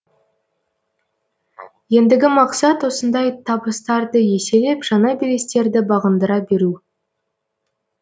ендігі мақсат осындай табыстарды еселеп жаңа белестерді бағындыра беру